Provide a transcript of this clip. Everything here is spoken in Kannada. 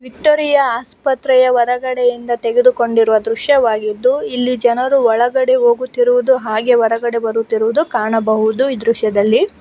ವಿಕ್ಟೋರಿಯಾ ಆಸ್ಪತ್ರೆಯ ಹೊರಗಡೆಯಿಂದ ತೆಗೆದುಕೊಂಡಿರುವ ದೃಶ್ಯವಾಗಿದ್ದು ಇಲ್ಲಿ ಜನರು ಒಳಗಡೆ ಹೋಗುತ್ತಿರುವುದು ಹಾಗೆ ಹೊರಗಡೆ ಬರುತ್ತಿರುವುದು ಕಾಣಬಹುದು ಈ ದೃಶ್ಯದಲ್ಲಿ.